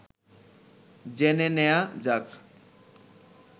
জেনে নেয়া যাক